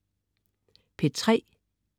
P3: